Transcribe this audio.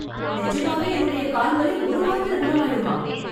நிஜமாவே என்னுடைய கால் வலி ஒரு வாரத்துல குணமாயிடுமா